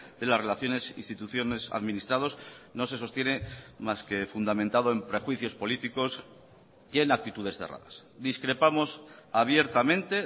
de las relaciones instituciones administrados no se sostiene más que fundamentado en prejuicios políticos y en actitudes cerradas discrepamos abiertamente